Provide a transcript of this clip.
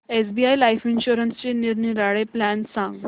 SBI Life इन्शुरन्सचे निरनिराळे plan सांग